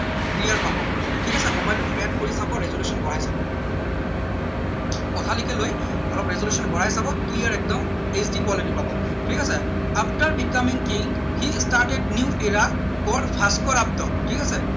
clear পাব ঠিক আছে mobile টো flat কৰি চাব resolution বঢ়াই চাব পথালিকে লৈ অলপ resolution বঢ়াই চাব clear একদম hq quality পাব ঠিক আছে after becoming king he started new for Bhaskar আব্দ ঠিক আছে